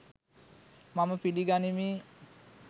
මම පිලිගනිමි.